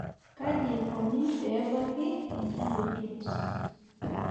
kaji ikoni pee ebaki enkiyioget?